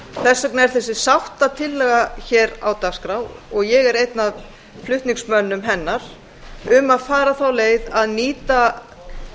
þess vegna er þessi sáttatillaga hér á dagskrá ég er einn af flutningsmönnum hennar um að fara þá leið að nýta